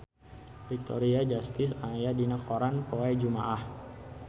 Victoria Justice aya dina koran poe Jumaah